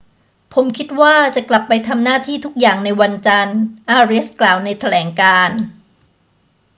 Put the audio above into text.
ผมคิดว่าจะกลับไปทำหน้าที่ทุกอย่างในวันจันทร์ อาเรียสกล่าวในแถลงการณ์